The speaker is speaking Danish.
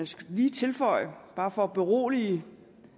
skal lige tilføje bare for at berolige